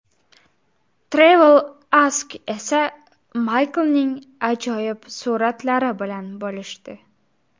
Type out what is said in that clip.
TravelAsk esa Maykning ajoyib suratlari bilan bo‘lishdi.